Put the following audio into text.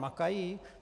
Makají?